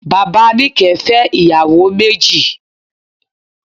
Bàbá Níkẹ̀ẹ́ fẹ́ ìyàwó méjì.